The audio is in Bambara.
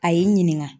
A y'i ɲininka